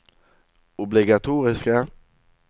obligatoriske